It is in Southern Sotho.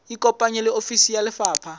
ikopanye le ofisi ya lefapha